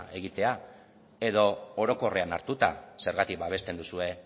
egitea edo orokorrean hartuta zergatik babesten duzue